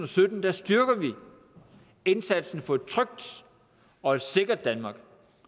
sytten styrker vi indsatsen for et trygt og et sikkert danmark